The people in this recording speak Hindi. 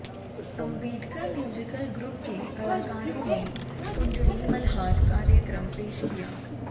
अंबेडकर म्यूजिकल ग्रुप के कलाकारों ने कुंजड़ी मल्हार कार्यक्रम पेश किया